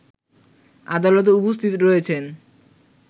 আদালতে উপস্থিত রয়েছেন